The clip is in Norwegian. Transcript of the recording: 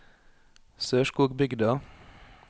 Sørskogbygda